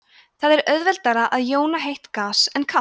það er auðveldara að jóna heitt gas en kalt